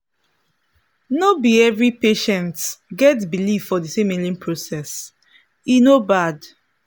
no be every patients get believe for the same healing process e no bad.